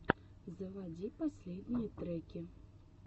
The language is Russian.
заводи последние треки